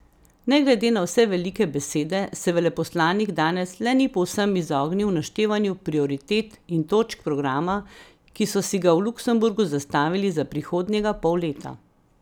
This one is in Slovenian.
Ne glede na vse velike besede se veleposlanik danes le ni povsem izognil naštevanju prioritet in točk programa, ki so si ga v Luksemburgu zastavili za prihodnjega pol leta.